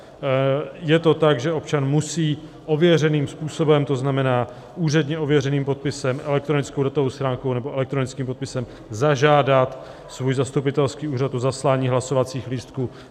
Je to tak, že občan musí ověřeným způsobem, to znamená úředně ověřeným podpisem, elektronickou datovou schránkou nebo elektronickým podpisem, zažádat svůj zastupitelský úřad o zaslání hlasovacích lístků.